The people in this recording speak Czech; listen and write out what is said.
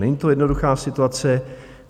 Není to jednoduchá situace.